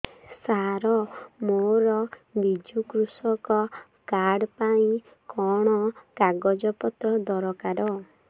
ସାର ମୋର ବିଜୁ କୃଷକ କାର୍ଡ ପାଇଁ କଣ କାଗଜ ପତ୍ର ଦରକାର